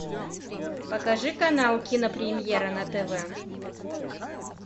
покажи канал кинопремьера на тв